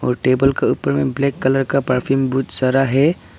और टेबल का ऊपर मे ब्लैक कलर का परफ्यूम बहुत सारा है।